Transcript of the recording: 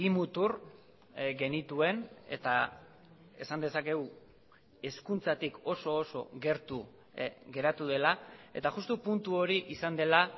mutur genituen eta esan dezakegu hezkuntzatik oso oso gertu geratu dela eta justu puntu hori izan dela